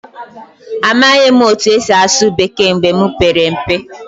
Amaghị m otú e si asụ Bekee mgbe m pere mpe.